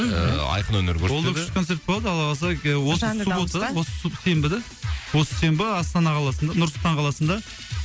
ыыы айқын өнер көрсетеді ол да күшті концерт болады алла қаласа осы суббота осы сенбі да осы сенбі астана қаласында нұр сұлтан қаласында